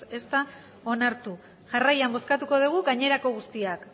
ez da onartu jarraian bozkatuko dugu gainerako guztiak